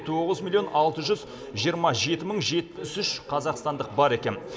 тоғыз миллион алты жүз жиырма жеті мың жетпіс үш қазақстандық бар екен